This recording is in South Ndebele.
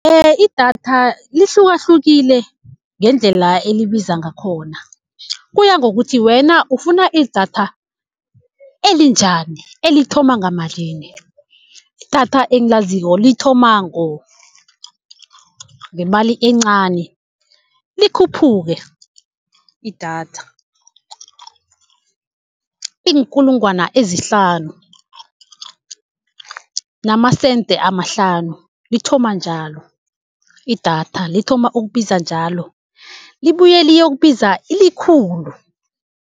Idatha lihlukahlukile ngendlela elibiza ngakhona, kuya ngokuthi wena ufuna idatha elinjani, elithoma ngamalini. Idatha engilaziko lithoma ngemali encani likhuphuke idatha. Iinkulungwana ezihlanu namasente amahlanu lithoma njalo. Idatha lithoma ukubiza njalo libuye liyokubiza ikhulu.